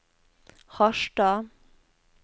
Harstad